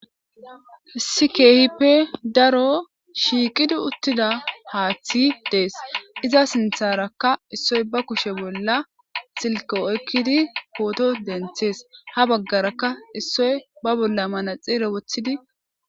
sikehippe daro shiiqidi uttida haaththi dees iza sintharakka issoy ba kushe bolla silko oykkidi pooto denthees ha baggarakka issoy ba bolla mana xiire wothidi